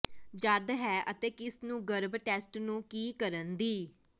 ਜਦ ਹੈ ਅਤੇ ਕਿਸ ਨੂੰ ਗਰਭ ਟੈਸਟ ਨੂੰ ਕੀ ਕਰਨ ਦੀ